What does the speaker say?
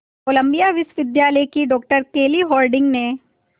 Colombia विश्वविद्यालय की doctor Kelly Harding ने